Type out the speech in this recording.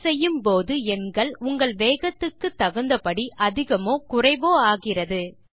type செய்யும்போது எண்கள் உங்கள் வேகத்துக்கு தகுந்த படி அதிகமோ குறைவோ ஆகிறது